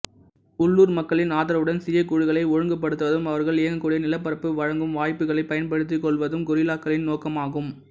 உள்ளூர் மக்களின் ஆதரவுடன் சிறியக் குழுக்களை ஒழுங்குபடுத்துவதும் அவர்கள் இயங்கக்கூடிய நிலப்பரப்பு வழங்கும் வாய்ப்புகளைப் பயன்படுத்திக் கொள்வதும் கொரில்லாக்களின் நோக்கமாகும்